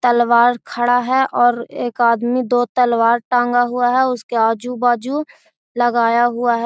तलवार खड़ा हेय और एक आदमी दो तलवार टांगा हुआ है उसके आजू बाजू लगाया हुआ है।